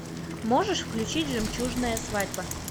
можешь включить жемчужная свадьба